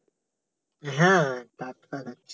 হ্যাঁ টাটকা